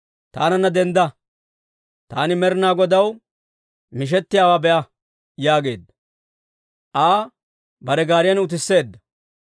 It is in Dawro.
«Taananna dendda. Taani Med'ina Godaw mishettiyaawaa be'a» yaageedda. Aa bare gaariyan utisseedda.